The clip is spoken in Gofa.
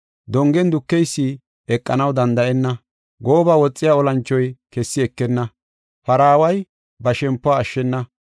Dongen dukeysi eqanaw danda7enna; gooba woxiya olanchoy kessi ekenna; paraaway ba shempuwa ashshena.